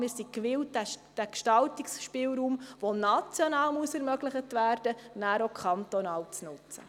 Wir sind gewillt, den Gestaltungsspielraum, der national ermöglicht werden muss, kantonal zu nutzen.